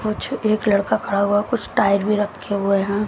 कुछ एक लड़का खड़ा हुआ कुछ टाइड भी रखे हुए हैं।